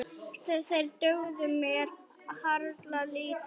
Þeir dugðu mér harla lítið.